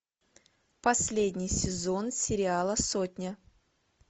последний сезон сериала сотня